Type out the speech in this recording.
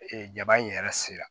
Ee jaba in yɛrɛ sera